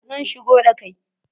Zan shigo da kai